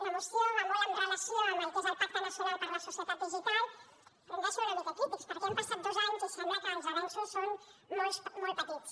la moció va molt amb relació al que és el pacte nacional per la societat digital però hem de ser una mica crítics perquè han passat dos anys i sembla que els avenços són molt petits